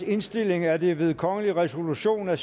indstilling er det ved kongelig resolution af